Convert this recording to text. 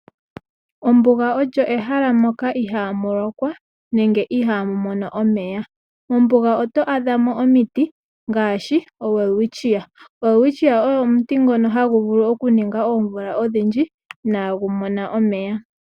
Ombuga olyo ehala moka ihaamu lokwa nenge ihaa mu mono omeya mombuga oto adha mo omiti ngaashi oWelwitcia, oWelwitcia ogo omuti ngono hagu vulu okuninga oomvula odhidhji inaa gu mona omeya .